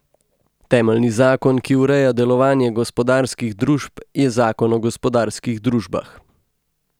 Temeljni zakon, ki ureja delovanje gospodarskih družb, je zakon o gospodarskih družbah.